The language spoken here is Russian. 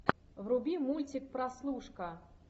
вруби мультик прослушка